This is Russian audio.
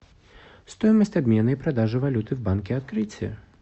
стоимость обмена и продажи валюты в банке открытие